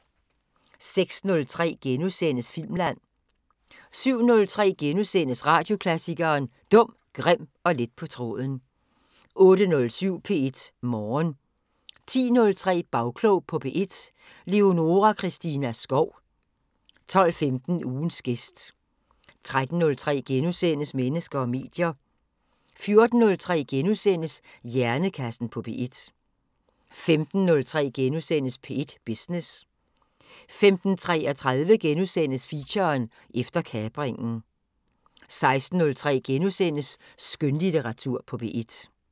06:03: Filmland * 07:03: Radioklassikeren: Dum, grim og let på tråden * 08:07: P1 Morgen 10:03: Bagklog på P1: Leonora Christina Skov 12:15: Ugens gæst 13:03: Mennesker og medier * 14:03: Hjernekassen på P1 * 15:03: P1 Business * 15:33: Feature: Efter kapringen * 16:03: Skønlitteratur på P1 *